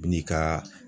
N'i ka